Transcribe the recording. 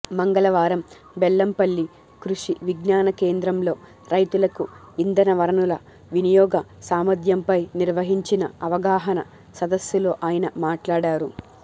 మంగళవారం బెల్లంపల్లి కృషి విజ్ఞాన కేంద్రంలో రైతులకు ఇంధన వనరుల వినియోగ సామర్థ్యంపై నిర్వహించిన అవగాహన సదస్సులో ఆయన మాట్లాడారు